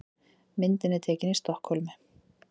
Myndin er tekin í Stokkhólmi.